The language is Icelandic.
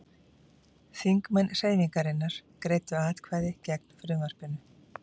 Þingmenn Hreyfingarinnar greiddu atkvæði gegn frumvarpinu